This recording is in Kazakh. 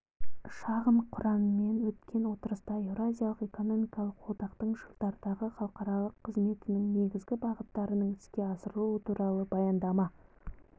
шағын құраммен өткен отырыста еуразиялық экономикалық одақтың жылдардағы халықаралық қызметінің негізгі бағыттарының іске асырылуы туралы баяндама